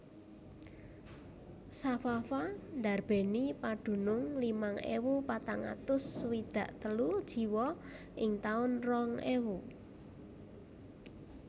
Safafa ndarbèni padunung limang ewu patang atus swidak telu jiwa ing taun rong ewu